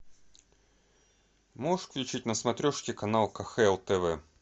можешь включить на смотрешке канал кхл тв